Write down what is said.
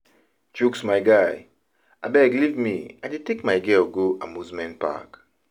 Chuks my guy, abeg leave me I dey take my girl go amusement park.